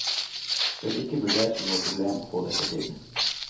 Det ble ikke vurdert som noe problem å få dette til.